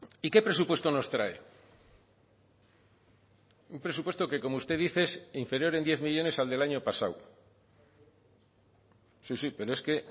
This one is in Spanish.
y qué presupuesto nos trae un presupuesto que como usted dice es inferior en diez millónes al del año pasado sí sí pero es que